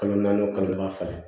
Kalo naani o kalo fila